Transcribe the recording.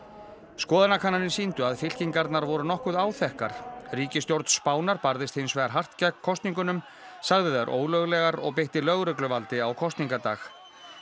skoðanakannanir sýndu að fylkingarnar voru nokkuð áþekkar ríkisstjórn Spánar barðist hins vegar hart gegn kosningum sagði þær ólöglegar og beitti lögregluvaldi á kosningadag